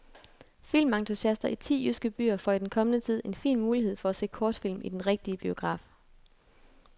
Filmentusiaster i ti jyske byer får i den kommende tid en fin mulighed for at se kortfilm i den rigtige biograf.